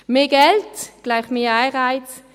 Mehr Geld gleich mehr Anreiz.